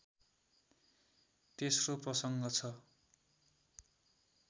तेस्रो प्रसङ्ग छ